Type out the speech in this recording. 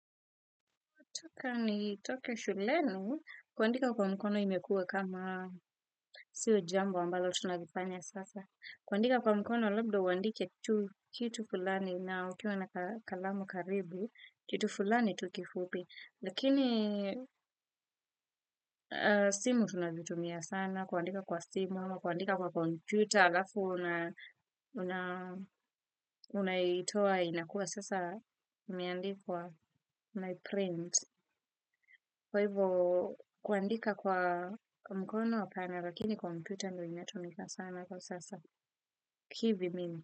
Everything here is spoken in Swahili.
Toka nitoke shuleni kuandika kwa mkono imekuwa kama sio jambo ambalo tunalifanya sasa. Kuandika kwa mkono labda uandike kitu fulani na ukiwa na kalamu karibu, kitu fulani tu kifupi. Lakini simu tunazitumia sana, kuandika kwa simu, kuandika kwa kompyuta, alafu unaitoa inajuwa sasa imeandikwa unaiptint kwa hivo kuandika kwa mkono apana lakini kuandika kwa kompyuta.